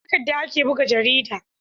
da takadda ake buga jarida